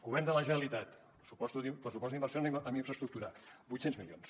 govern de la generalitat pressupost d’inversions en infraestructures vuit cents milions